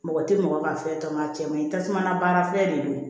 Mɔgɔ tɛ mɔgɔ ka fɛn tɔmɔnɔ a cɛ man ɲi tasuma na baara fɛn de don